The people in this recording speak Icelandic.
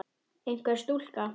Einhver stúlka?